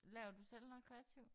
Laver du selv noget kreativt?